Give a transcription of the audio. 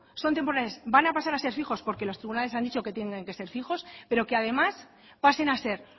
son temporales van a pasar a ser fijos porque los tribunales han dicho que tienen que ser fijos pero que además pasen a ser